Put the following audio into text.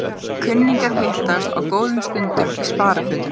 Kunningjar hittast á góðum stundum í sparifötum.